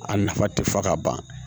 A nafa tɛ fɔ ka ban